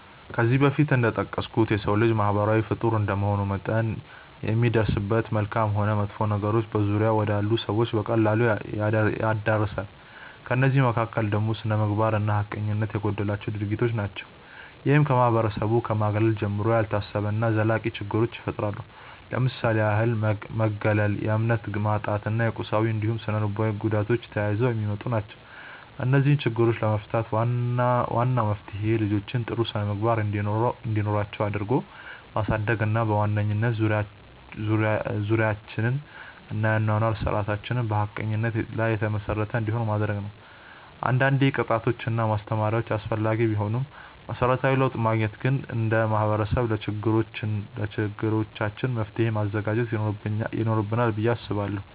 ከዚህ በፊት እንደጠቀስኩት የሰው ልጅ ማህበራዊ ፍጡር እንደመሆኑ መጠን የሚደርስበት መልካምም ሆን መጥፎ ነገሮች በዙሪያው ወዳሉ ሰዎች በቀላሉ ይዳረሳል። ከእነዚህ መካከል ደግሞ ስነምግባር እና ሀቀኝነት የጎደላቸው ድርጊቶች ናቸው። ይህም ከማህበረሰቡ ከማግለል ጀምሮ፣ ያልታሰቡ እና ዘላቂ ችግሮችን ይፈጥራል። ለምሳሌ ያህል መገለል፣ የእምነት ማጣት እና የቁሳዊ እንዲሁም ስነልቦናዊ ጉዳቶች ተያይዘው የሚመጡ ናቸው። እነዚህን ችግሮች ለመፍታት ዋናው መፍትሄ ልጆችን ጥሩ ስነምግባር እንዲኖራቸው አድርጎ ማሳደግ እና በዋናነት ዙሪያችንን እና የአኗኗር ስርዓታችንን በሀቀኝነት ላይ የተመሰረተ እንዲሆን ማድረግ ነው። አንዳንዴ ቅጣቶች እና ማስተማሪያዎች አስፈላጊ ቢሆኑም መሰረታዊ ለውጥ ለማግኘት ግን እንደ ማህበረሰብ ለችግሮቻችን መፍትሔ ማዘጋጀት ይኖርብናል ብዬ አስባለሁ።